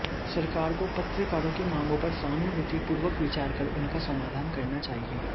सरकार को पत्रकारों की मांगों पर सहानुभूति पूर्वक विचार कर उनका समाधान करना चाहिए